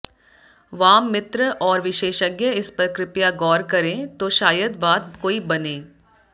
वाम मित्र और विशेषज्ञ इस पर कृपया गौर करें तो शायद बात कोई बने